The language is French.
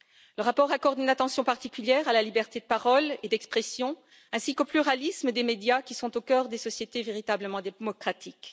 Le rapport accorde une attention particulière à la liberté de parole et d'expression, ainsi qu'au pluralisme des médias, qui sont au cœur des sociétés véritablement démocratiques.